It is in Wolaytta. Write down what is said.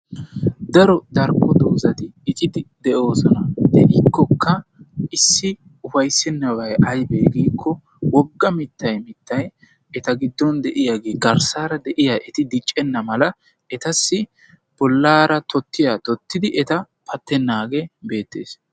Daro darko dozaati icidi de'osona. Deikoka issi ufayssenabay aybe giko wogga wogga miittay eta gidon deiyagee garssara deiya eti diccena mala etassi bollara totiya totidi eta pattenage beetes.